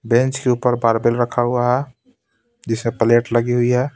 Bench के ऊपर barbell रखा हुआ है जिसमे प्लेट लगी हुई है.